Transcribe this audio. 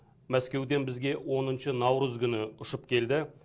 мәскеуден бізге оныншы наурыз күні ұшып келді